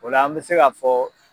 O la an bɛ se ka fɔ